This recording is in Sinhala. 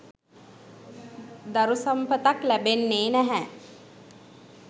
දරු සම්පතක් ලැබෙන්නේ් නැහැ.